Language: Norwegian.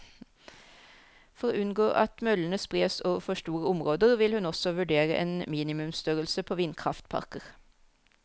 For å unngå at møllene spres over for store områder, vil hun også vurdere en minimumsstørrelse på vindkraftparker.